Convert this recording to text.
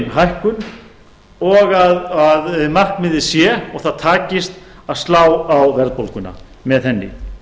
hækkun og að markmiðið sé og það takist að slá á verðbólguna með henni